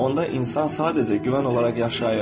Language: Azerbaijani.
Onda insan sadəcə güvən olaraq yaşayır.